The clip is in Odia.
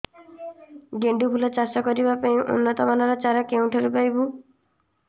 ଗେଣ୍ଡୁ ଫୁଲ ଚାଷ କରିବା ପାଇଁ ଉନ୍ନତ ମାନର ଚାରା କେଉଁଠାରୁ ପାଇବୁ